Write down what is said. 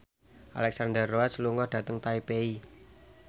Alexandra Roach lunga dhateng Taipei